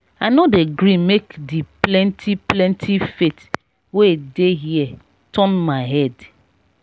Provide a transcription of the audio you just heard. i no dey gree make di plenty plenty faith wey dey here turn my head.